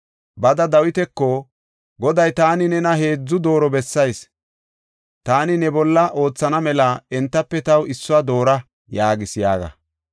“Bada Dawitako, Goday, ‘Taani nena heedzu dooro bessayis; taani ne bolla oothana mela entafe taw issuwa doora’ yaagees” yaaga.